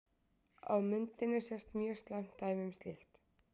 Á myndinni sést mjög slæmt dæmi um slíkt.